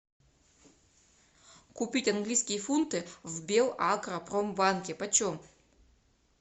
купить английские фунты в белагропромбанке почем